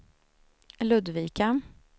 Ludvika